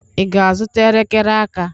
Ị ga-azụta elekere aka?